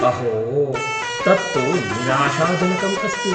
अहो, तत्तु निराशाजनकम् अस्ति।